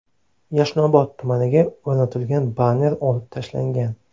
Yashnobod tumaniga o‘rnatilgan banner olib tashlangan.